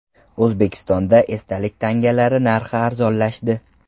O‘zbekistonda esdalik tangalar narxi arzonlashdi.